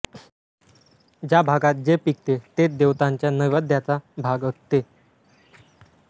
ज्या भागात जे पिकते तेच देवतांच्या नैवेद्याचा भाग असते